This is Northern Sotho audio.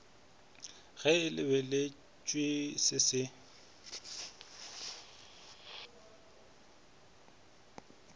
ge e lebeletšwe se se